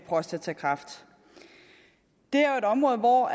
prostatakræft det er jo et område hvor